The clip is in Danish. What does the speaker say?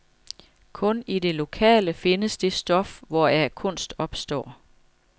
Kun i det lokale findes det stof, hvoraf kunst opstår.